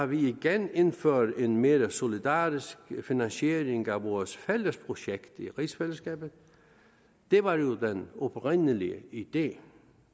vi igen indfører en mere solidarisk finansiering af vores fælles projekt i rigsfællesskabet det var jo den oprindelige idé